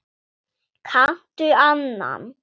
Kanntu annan?